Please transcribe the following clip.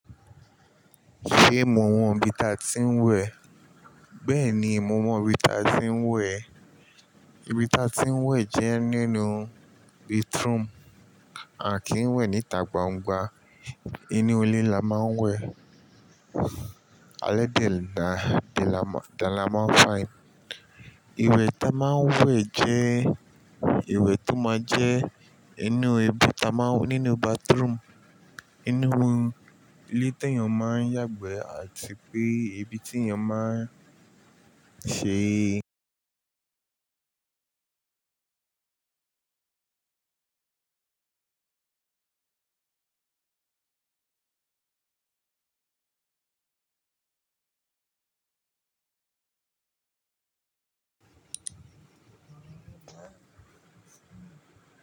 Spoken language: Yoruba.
Ṣé mọ̀ mọ̀ ibí ta tí ń wẹ̀? Bẹ́ẹ̀ni ìmúmọ̀ bíta tí ń wẹ̀. Íbíta tí ń wẹ̀ jẹ́ nínú bathroom à kí ń wẹ̀ níta gbangba. Inú ilé la máa ń wẹ̀. Alẹ́ dẹ̀ náà dàmá fáìn. Iwẹ̀ ta máa ń wẹ̀ jẹ́ ìwẹ̀ tó máa jẹ́ inú ebú ta máa nínú bathroom. Inú ilé tó ènìyàn máa ń yàgbẹ́ àti pé ibi tí ènìyàn máa ń ṣe.